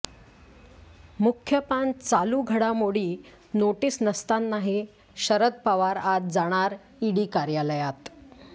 मुख्य पान चालू घडामोडी नोटीस नसतानाही शरद पवार आज जाणार ईडी कार्यालयात